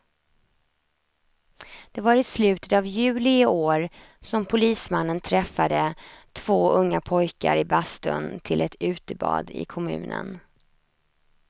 Det var i slutet av juli i år som polismannen träffade två unga pojkar i bastun till ett utebad i kommunen.